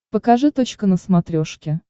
покажи точка на смотрешке